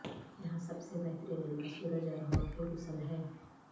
یہاں سب سے بہترین علاج سورج اور ہوا کے غسل ہے